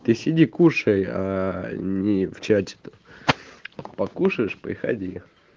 ты сиди кушай а не в чате покушаешь приходи